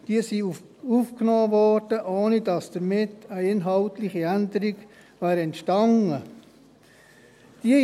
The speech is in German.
Diese wurden aufgenommen, ohne dass damit eine inhaltliche Änderung entstanden wäre.